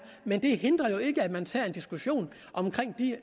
men det hindrer ikke at man tager en diskussion omkring de